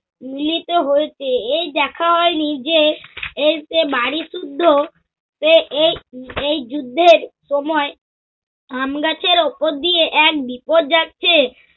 মিলিতে হয়েছে। এই দেখা হয়নি যে, এইযে বাড়ীশুদ্ধ এ এই এই যুদ্ধের সময় আমগাছের উপর দিয়ে এক বিপদ যাচ্ছে।